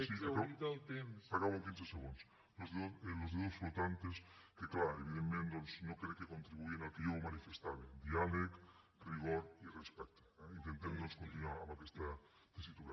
sí acabo acabo en quinze segons los dedos flotantes que clar evidentment doncs no crec que contribueixin al que jo manifestava diàleg rigor i respecte eh intentem doncs continuar amb aquesta tessitura